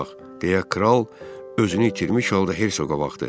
Deyə kral özünü itirmiş halda Herşoqa baxdı.